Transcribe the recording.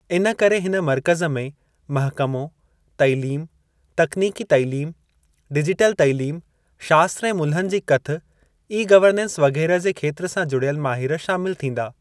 इनकरे हिन मर्कज़ में महकमो, तइलीम, तकनीकी तइलीम, डिजिटल तइलीम शास्त्र ऐं मुल्हनि जी कथ, ई-गवर्नेस वगै़रह जे खेत्र सां जुड़ियल माहिर शामिल थींदा।